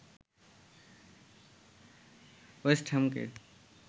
West হ্যামকে